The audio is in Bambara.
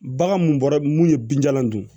Bagan mun bɔra mun ye binjalan dun